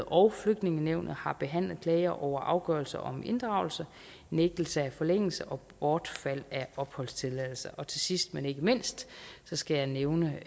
og flygtningenævnet har behandlet klager over afgørelser om inddragelse nægtelse af forlængelse og bortfald af opholdstilladelser sidst men ikke mindst skal jeg nævne